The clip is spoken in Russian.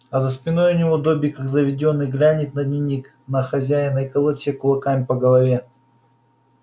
а за спиной у него добби как заведённый глянет на дневник на хозяина и колотит себя кулаками по голове